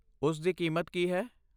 ਉਸ ਦੀ ਕੀਮਤ ਕੀ ਹੈ?